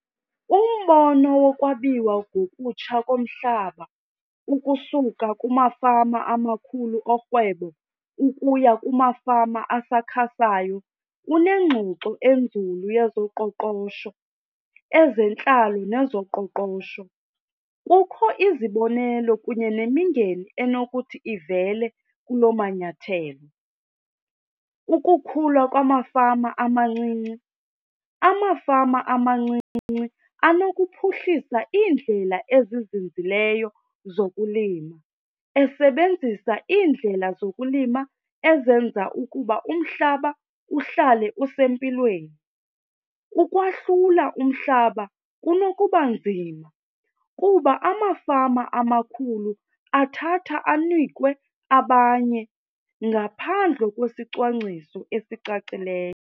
Umbono wokwabiwa ngokutsha komhlaba ukusuka kumafama amakhulu orhwebo ukuya kumafama asakhasayo kunengxoxo enzulu yezoqoqosho, ezentlalo nezoqoqosho. Kukho izibonelelo kunye nemingeni enokuthi ivele kuloo manyathelo. Ukukhula kwamafama amancinci, amafama amancinci anokuphuhlisa iindlela ezizinzileyo zokulima esebenzisa iindlela zokulima ezenza ukuba umhlaba uhlale usempilweni. Ukwahlula umhlaba kunokuba nzima kuba amafama amakhulu athatha anike abanye ngaphandle kwesicwangciso ezicacileyo.